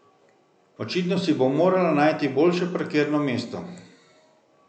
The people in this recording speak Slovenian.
Očitno si bo morala najti boljše parkirno mesto.